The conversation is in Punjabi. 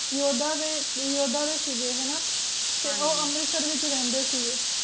ਯੋਧਾ ਦੇ ਯੋਧਾ ਦੇ ਸੀਗੇ ਹਣਾ ਤੇ ਉਹ ਅੰਮ੍ਰਿਤਸਰ ਵਿਚ ਰਹਿੰਦੇ ਸੀਗੇ